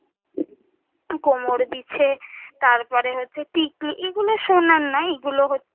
কোমরবিছে, তারপরে হচ্ছে টিকলি, এই গুলো সোনার না এই গুলো হচ্ছে,